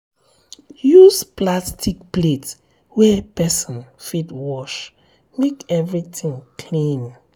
use plastic um plate wey person fit wash make everything clean.